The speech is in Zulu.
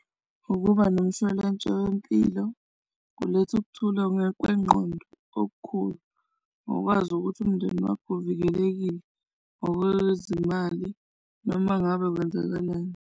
Ukuba nomshwalense wempilo kuletha ukuthula ngokwengqondo okukhulu ngokwazi ukuthi umndeni wakho uvikelekile ngokwezimali noma ngabe kwenzakalani.